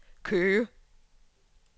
Køge